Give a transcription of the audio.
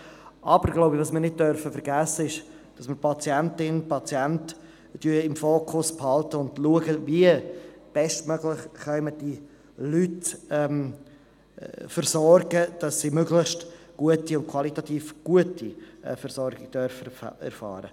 Aber, ich glaube, wir dürfen nicht vergessen, die Patientin und den Patienten im Fokus zu behalten und zu prüfen, wie wir sie bestmöglich versorgen können, damit sie eine möglichst qualitativ gute Versorgung erfahren dürfen.